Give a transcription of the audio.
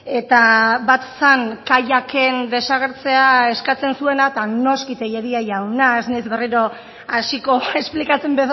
eta bat zen kaiaken desagertzea eskatzen zuena eta noski tellería jauna ez naiz berriro hasiko esplikatzen